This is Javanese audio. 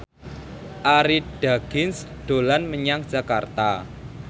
Arie Daginks dolan menyang Jakarta